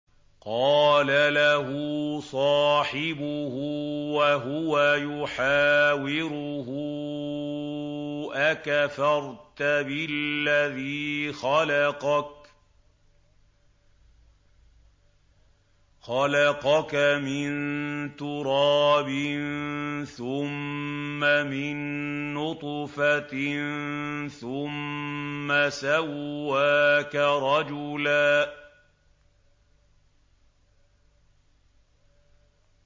قَالَ لَهُ صَاحِبُهُ وَهُوَ يُحَاوِرُهُ أَكَفَرْتَ بِالَّذِي خَلَقَكَ مِن تُرَابٍ ثُمَّ مِن نُّطْفَةٍ ثُمَّ سَوَّاكَ رَجُلًا